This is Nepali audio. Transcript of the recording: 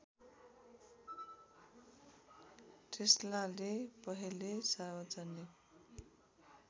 टेस्लाले पहले सार्वजनिक